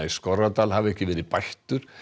í Skorradal hafi ekki verið bættur